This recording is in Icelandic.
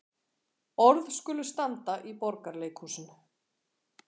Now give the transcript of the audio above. Orð skulu standa í Borgarleikhúsinu